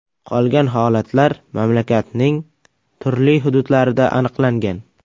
Qolgan holatlar mamlakatning turli hududlarida aniqlangan.